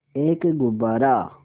एक गुब्बारा